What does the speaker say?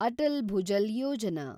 Atal Bhujal Yojana